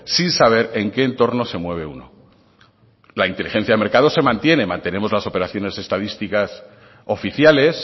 sin saber en qué entorno se mueve uno la inteligencia del mercado se mantiene mantenemos las operaciones estadísticas oficiales